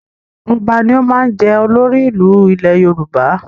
Ọba ni ó máa ń jẹ́ olórí ìlú ní ilẹ̀ Yorùbá